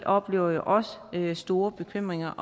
oplever jo også store bekymringer